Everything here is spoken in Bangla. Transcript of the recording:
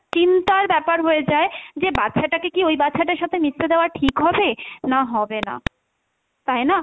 চিন্তার ব্যাপার হয়ে যায় যে বাচ্চাটাকে কী ওই বাচ্চাটার সাথে মিশতে দেওয়া ঠিক হবে, না হবে না, তাই না?